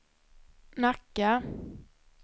Nacka